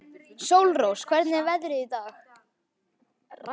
Sólrós, hvernig er veðrið í dag?